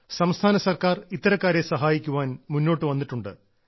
സംസ്ഥാന സർക്കാർ ഇത്തരക്കാരെ സഹായിക്കാൻ മുന്നോട്ടു വന്നിട്ടുണ്ട്